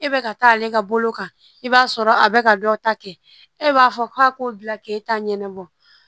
E bɛ ka taa ale ka bolo kan i b'a sɔrɔ a bɛ ka dɔ ta kɛ e b'a fɔ k'a k'o bila k'e t'a ɲɛnɛ